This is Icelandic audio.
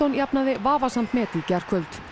jafnaði vafasamt met í gærkvöld